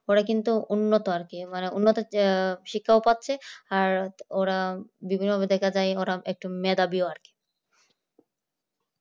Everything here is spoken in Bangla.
পরে কিন্তু উন্নত আর কি উন্নত শিক্ষাও পাচ্ছে আর ওরা বিভিন্ন জায়গায় যায় ওরা একটু মেধাবী আর কি